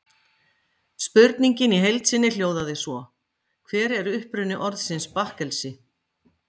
Spurningin í heild sinni hljóðaði svo: Hver er uppruni orðsins bakkelsi?